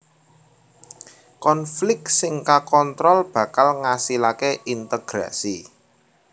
Konflik sing kakontrol bakal ngasilaké integrasi